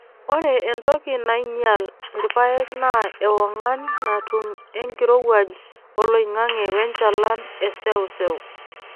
Ore entoki naainyial irpaek naa ewongan natum enkirowuaj oloing'ang'e wenchalan e seuseu.